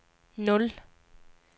nul